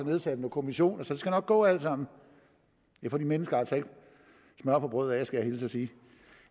nedsat en kommission så det skal nok gå alt sammen det får de mennesker altså ikke smør på brødet af skal jeg hilse og sige